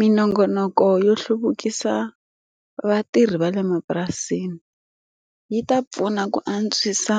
Minongonoko yo hluvukisa vatirhi va le mapurasini, yi ta pfuna ku antswisa